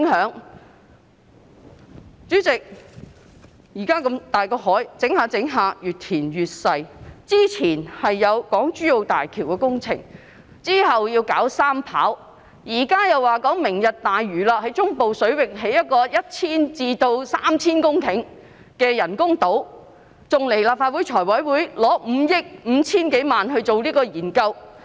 代理主席，現時香港海域隨着填海變得越來越細小，之前有港珠澳大橋工程，之後要發展三跑，現在又說要發展"明日大嶼"，在中部水域興建 1,000 公頃至 3,000 公頃的人工島，還向立法會財務委員會申請撥款5億 5,000 多萬元以進行研究。